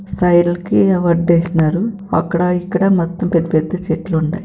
సైడ్లుకి వడ్డేశినారు అక్కడా ఇక్కడా మొత్తం పెద్ద పెద్ద చెట్లు ఉండాయ్.